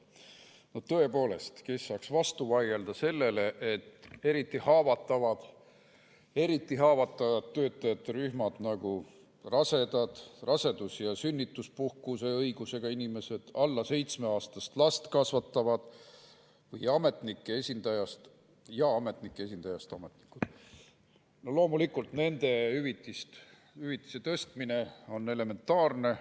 Tõepoolest, kes saaks vastu vaielda sellele, et eriti haavatavatel töötajate rühmadel, nagu rasedad, rasedus‑ ja sünnituspuhkuse õigusega inimesed, alla seitsmeaastast last kasvatavad ja ametnike esindajast ametnikud, on hüvitise tõstmine loomulikult elementaarne.